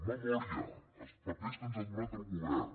memòria els papers que ens ha donat el govern